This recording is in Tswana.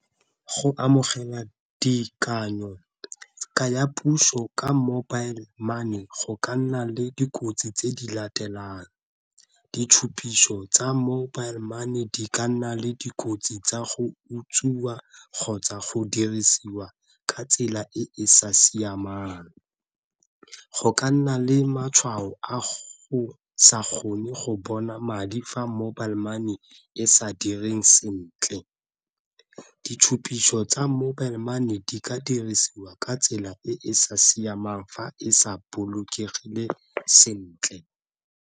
Go amogela ka ya puso ka mobile money go ka nna le dikotsi tse di latelang ditshupiso tsa mobile money di ka nna le dikotsi tsa go utswiwa kgotsa go dirisiwa ka tsela e e sa siamang, go ka nna le matshwao a go sa kgone go bona madi fa mobile money e sa direng sentle, ditshupitso tsa mobile money e di ka dirisiwa ka tsela e e sa siamang fa e sa bolokegile sentle.